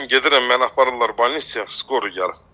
Mən gedirəm, məni aparırlar balnisya, skori gəlib.